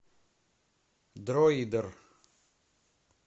дроидер